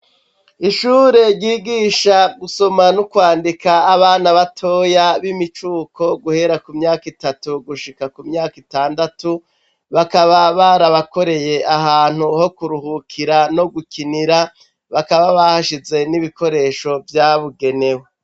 Ishure ryigisha gusoma n'ukwandika, abana batoya, b'imicuko, guhera ku myaka itatu gushika ku myaka itandatu; bakaba barabakoreye ahantu ho kuruhukira no gukinira, bakaba bahashize n'ibikoresho vyabugenewe.